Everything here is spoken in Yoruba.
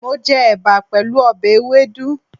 Mo je èbà pèlú obè ewédú